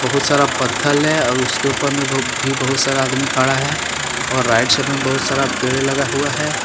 बहुत सारा पत्थर है और उसके ऊपर में भी बहुत सारा आदमी खड़ा है और राइट साइड में पेड़ लगा हुआ हैं।